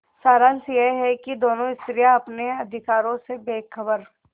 सारांश यह कि दोनों स्त्रियॉँ अपने अधिकारों से बेखबर